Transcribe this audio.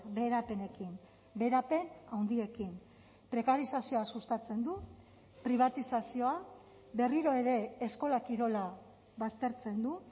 beherapenekin beherapen handiekin prekarizazioa sustatzen du pribatizazioa berriro ere eskola kirola baztertzen du